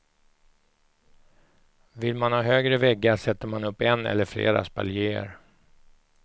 Vill man ha högre väggar sätter man upp en eller flera spaljéer.